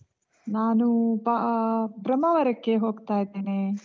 ನಾನು ಆಹ್ ಬ್ರಹ್ಮಾವರಕ್ಕೆ ಹೋಗ್ತಾ ಇದ್ದೇನೆ.